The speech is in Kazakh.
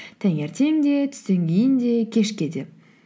таңертең де түстен кейін де кешке де